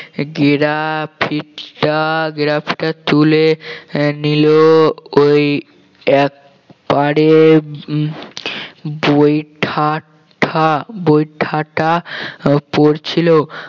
গেরাপিঠা গেরাপিঠা চলে আহ নিল ওই এক পারে উম বৈঠাটা বৈঠাটা উম পড়ছিল